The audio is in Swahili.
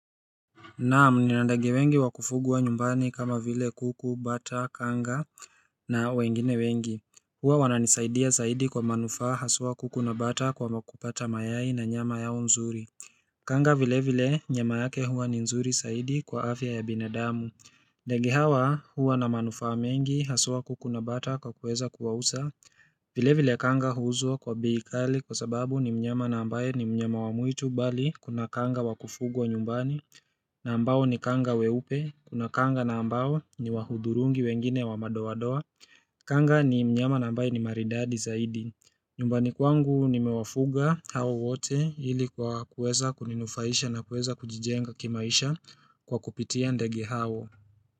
Naam nina ndege wengi wakufugwa nyumbani kama vile kuku, bata, kanga na wengine wengi. Huwa wananisaidia saidi kwa manufaa haswa kuku na bata kwamu kupata mayai na nyama yao nzuri. Kanga vile vile nyama yake huwa ni nzuri saidi kwa afya ya binadamu. Ndege hawa hua na manufaa mengi haswaa kuku na bata kwa kuweza kuwausa. Vile vile kanga huuzwa kwa bei kali kwa sababu ni mnyama na ambaye ni mnyama wa mwitu bali kuna kanga wa kufugwa nyumbani na ambao ni kanga weupe, kuna kanga na ambao ni wahudhurungi wengine wa madoa doa Kanga ni mnyama na ambaye ni maridadi zaidi nyumbani kwangu nimewafuga hawa wote ili kwa kueza kuninufaisha na kueza kujijenga kimaisha kwa kupitia ndege hawa.